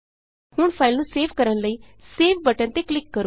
ਹੁਣ ਫਾਈਲ ਨੂੰ ਸੇਵ ਕਰਨ ਲਈ ਸੇਵ ਬਟਨ ਤੇ ਕਲਿਕ ਕਰੋ